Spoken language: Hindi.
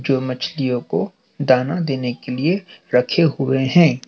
जो मछलियों को दाना देने के लिए रखे हुए हैं।